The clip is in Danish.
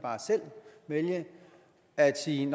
vælge at sige